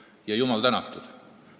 Ja jumal tänatud!